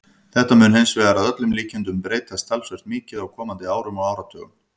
Þetta mun hins vegar að öllum líkindum breytast talsvert mikið á komandi árum og áratugum.